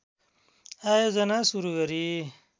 आयोजना सुरु गरी